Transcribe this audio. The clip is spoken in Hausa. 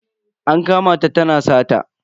An kama ta tana sata.